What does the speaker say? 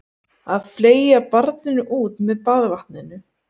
Að fleygja barninu út með baðvatninu